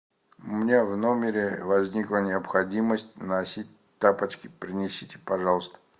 у меня в номере возникла необходимость носить тапочки принесите пожалуйста